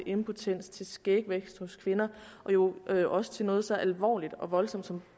impotens til skægvækst hos kvinder og jo også noget så alvorligt og voldsomt som